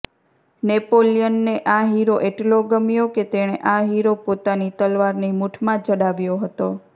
નેપોલિયનને આ હીરો એટલો ગમ્યો કે તેણે આ હીરો પોતાની તલવારની મૂઠમાં જડાવ્યો હતો